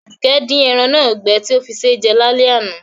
Àdùkẹ́ di eran náà gbẹ ti o fí sé jẹ lálẹ́ àná